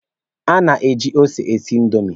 A na-eji ose e si indomi.